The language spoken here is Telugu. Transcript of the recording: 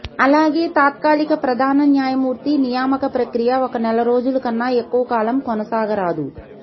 అలాగే తాత్కాలిక ప్రధాన న్యాయమూర్తి నియామక ప్రక్రియ ఒక నెల రోజుల కన్నా ఎక్కువ కాలం కొనసాగరాదు